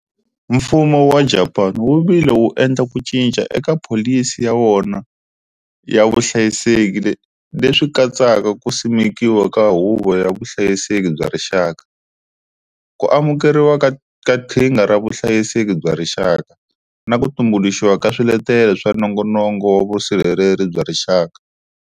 Mfumo wa Japani wu vile wu endla ku cinca eka pholisi ya wona ya vuhlayiseki leswi katsaka ku simekiwa ka Huvo ya Vuhlayiseki bya Rixaka, ku amukeriwa ka Qhinga ra Vuhlayiseki bya Rixaka, na ku tumbuluxiwa ka Swiletelo swa Nongonoko wa Vusirheleri bya Rixaka.